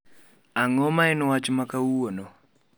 Ang'o ma en wach ma kawuono